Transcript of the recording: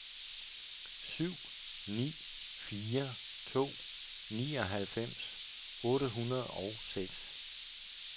syv ni fire to nioghalvfems otte hundrede og seks